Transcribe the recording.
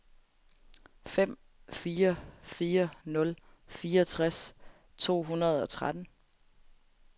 fem fire fire nul fireogtres to hundrede og tretten